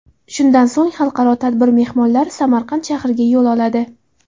Shundan so‘ng xalqaro tadbir mehmonlari Samarqand shahriga yo‘l oladi.